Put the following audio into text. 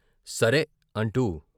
సరే " అంటూ